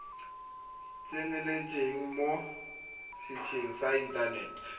tseneletseng mo setsheng sa inthanete